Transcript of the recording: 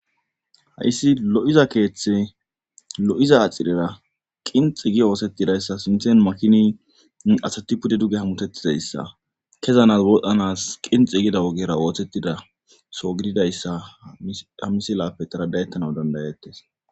Hayssi lo"iza keeththe lo"iza axirera qinxi gi oosettidayssa sinthen makini asati pude duge hamutettizayssa kezanas wodhdhanas qinxi gida wogera oothettida so gididayssa ha misilappe taradayettana dandayettes